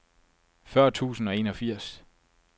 fyrre tusind og enogfirs